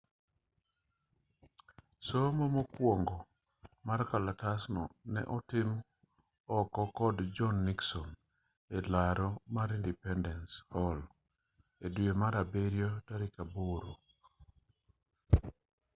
somo mokwongo mar kalatasno ne otim oko kod john nixon e laro mar independence hall e dwe mar abiriyo tarik aboro